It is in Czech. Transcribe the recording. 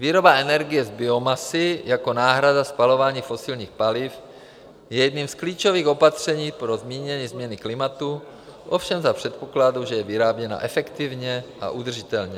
Výroba energie z biomasy jako náhrada spalování fosilních paliv je jedním z klíčových opatření pro zmírnění změny klimatu, ovšem za předpokladu, že je vyráběna efektivně a udržitelně.